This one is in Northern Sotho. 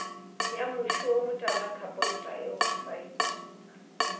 ya moši o motala khapontaeoksaete